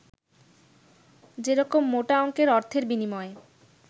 যেরকম মোটা অংকের অর্থের বিনিময়ে